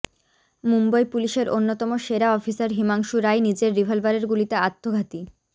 মুম্বই পুলিশের অন্যতম সেরা অফিসার হিমাংশু রায় নিজের রিভলভারের গুলিতে আত্মঘাতী